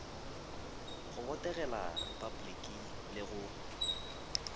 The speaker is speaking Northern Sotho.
go botegela repabliki le go